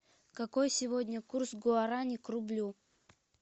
какой сегодня курс гуарани к рублю